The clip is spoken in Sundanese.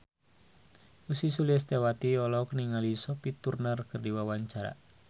Ussy Sulistyawati olohok ningali Sophie Turner keur diwawancara